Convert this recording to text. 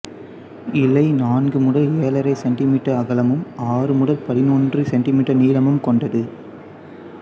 இலை நான்கு முதல் ஏழரை சென்டிமீட்டர் அகலமும் ஆறு முதல் பதினொன்று சென்டிமீட்டர் நீளமும் கொண்டது